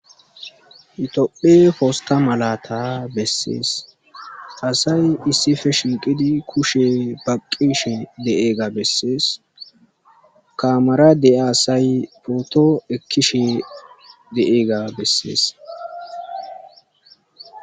Yophiya posta malata besses asay issippe shiiqidi kushe baqishe de'iyaba besses. Kamerara asay photo ekishe diyaga besses